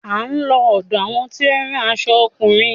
A ó lọ ọ̀dọ àwọn tí ó ń rán aṣo ọkùnrin.